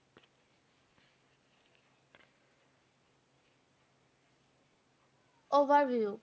Overview